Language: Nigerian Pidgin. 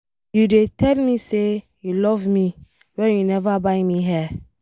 You dey tell me say you love me wen you never buy me hair.